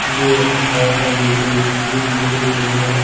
ఇది ఒక పాత బిల్డింగ్ ఈ బిల్డింగ్ ముందర.